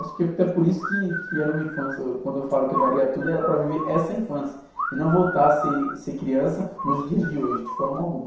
Acho que até por isso que, que era uma infância, quando eu falo que eu daria tudo, era para viver essa infância e não voltar a ser, ser criança nos dias de hoje, de forma alguma.